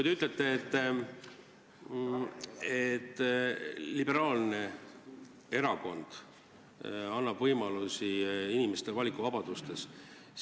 Te ütlete, et liberaalne erakond annab inimestele valikuvabaduse.